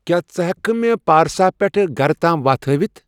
کیا ژٕ ہیکِہ کھہ مے پارسا پیٹھ گَرٕ تام وتھ ہٲیِتھ ؟